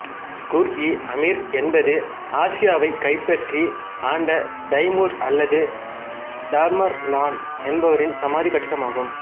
குர்இ அமீர் என்பது ஆசியாவைக் கைப்பற்றி ஆண்ட தைமூர் அல்லது தாமர்லான் என்பவரின் சமாதிக் கட்டிடம் ஆகும்